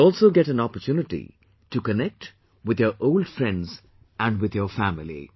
You will also get an opportunity to connect with your old friends and with your family